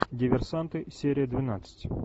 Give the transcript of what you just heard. диверсанты серия двенадцать